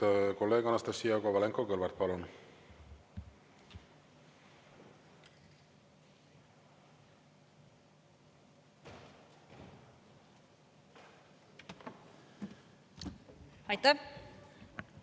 Ja nüüd kolleeg Anastassia Kovalenko-Kõlvart, palun!